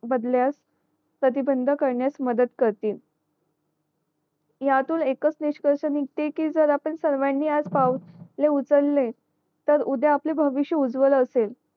बदल्यास प्रतिबंध करण्यास मदत करतील ह्यातून एकाच निष्कर्ष निघते कि जर आपण सर्वानी आज पाऊल उचले तर उद्या आपले भविष्य उज्वल असेल